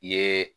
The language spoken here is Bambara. I ye